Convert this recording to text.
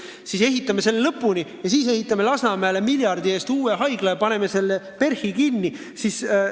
Me ehitame selle lõpuni ja siis ehitame Lasnamäele miljardi eest uue haigla ja paneme PERH-i kinni!